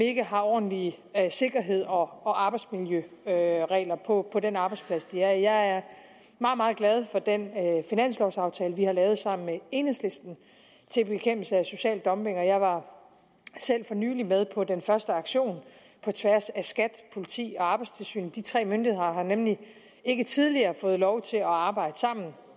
ikke har ordentlig sikkerhed og arbejdsmiljøregler på på den arbejdsplads de er på jeg er meget meget glad for den finanslovaftale vi har lavet sammen med enhedslisten til bekæmpelse af social dumping og jeg var selv for nylig med på den første aktion på tværs af skat politiet og arbejdstilsynet de tre myndigheder har nemlig ikke tidligere fået lov til at arbejde sammen